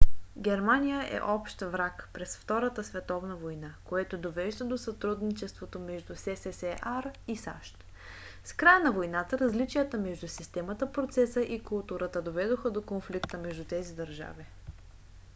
германия е общ враг през втората световна война което довежда до сътрудничеството между ссср и сащ. с края на войната различията между системата процеса и културата доведоха до конфликта между тези държави